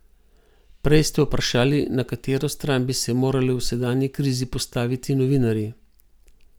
Prej ste vprašali, na katero stran bi se morali v sedanji krizi postaviti novinarji.